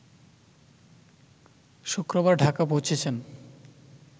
শুক্রবার ঢাকা পৌঁছেছেন